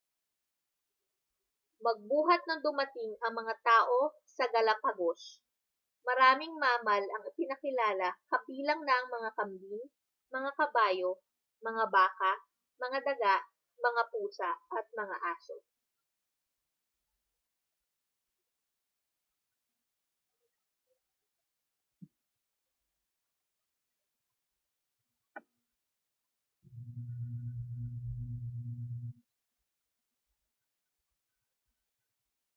magbuhat nang dumating ang mga tao sa galapagos maraming mammal ang ipinakilala kabilang na ang mga kambing mga kabayo mga baka mga daga mga pusa at mga aso